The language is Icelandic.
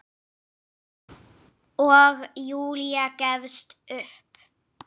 Og Júlía gefst upp.